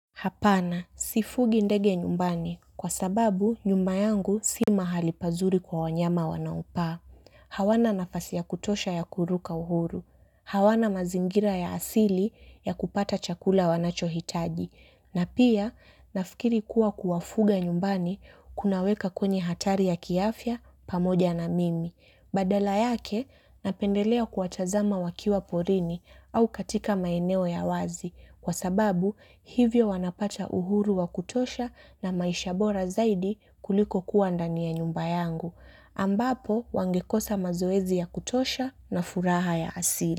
Hapana, sifugi ndege nyumbani kwa sababu nyumba yangu si mahali pazuri kwa wanyama wanaopaa. Hawana nafasi ya kutosha ya kuruka uhuru. Hawana mazingira ya asili ya kupata chakula wanachohitaji. Na pia, nafikiri kuwa kuwafuga nyumbani, kunaweka kwenye hatari ya kiafya, pamoja na kimi. Badala yake, napendelea kuwatazama wakiwa porini au katika maeneo ya wazi. Kwa sababu hivyo wanapata uhuru wa kutosha na maisha bora zaidi kuliko kuwa ndani ya nyumba yangu. Ambapo wangekosa mazoezi ya kutosha na furaha ya asili.